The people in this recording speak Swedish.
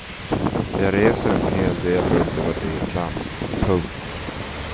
Jag reser en hel del runt i vårt eget land. punkt